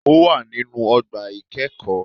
Ó wà nínú ogbà ìkẹ́ẹ̀kóó